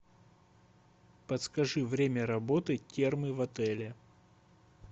подскажи время работы термы в отеле